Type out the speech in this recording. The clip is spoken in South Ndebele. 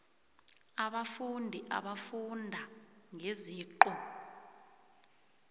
abafundi abafunda ngeziqu